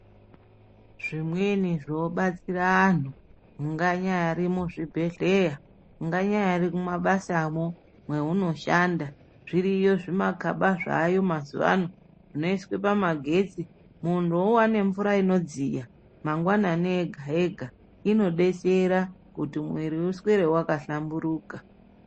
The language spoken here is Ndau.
Zvimweni zvino batsira anhu, unganyari muzvibhedhleya, unganyari kumabasamwo kwauno shanda, zviriyo zvimagaba zvaayo mazuwa ano zvinoiswe pamagetsi, munhu owane mvura inodziya mangwanani ega ega, ino detsera kuti muiri uswere wakahlamburika.